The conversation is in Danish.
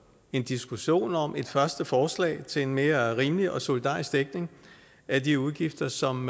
en diskussion om et første forslag til en mere rimelig og solidarisk dækning af de udgifter som